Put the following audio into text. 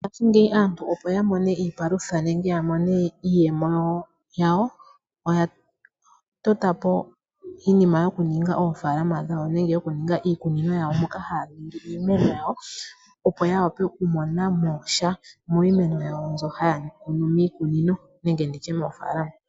Ngashingeyi aantu opo yamone iipalutha nenge yamone iiyemo yawo oyatota po iinima yokuninga oofaalama dhawo nenge yokuningaiikunino yawo moka haya kun iimeno yawo opo yawape okumona mosha miimeno yawo mbyoka haya ningile miikunino nenge moofaalama.